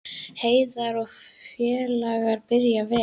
Heiðar og félagar byrja vel